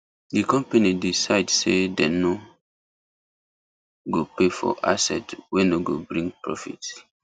the company decide say dem no go pay for asset wey no go bring profit